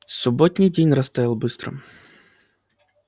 субботний день растаял быстро